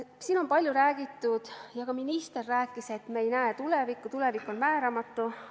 Siin on palju räägitud ja ka minister rääkis, et me ei näe tulevikku, tulevik on määramatu.